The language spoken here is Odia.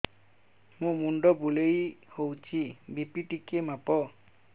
ମୋ ମୁଣ୍ଡ ବୁଲେଇ ହଉଚି ବି.ପି ଟିକେ ମାପ